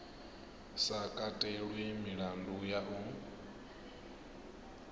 sa katelwi milandu ya u